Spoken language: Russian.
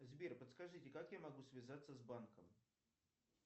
сбер подскажите как я могу связаться с банком